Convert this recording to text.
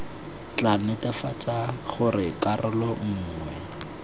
tla netefatsang gore karolo nngwe